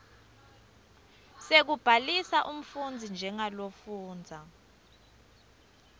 sekubhalisa umfundzi njengalofundza